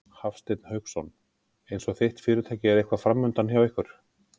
Hafsteinn Hauksson: Eins og þitt fyrirtæki er eitthvað framundan hjá ykkur?